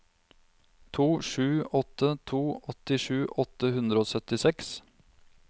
to sju åtte to åttisju åtte hundre og syttiseks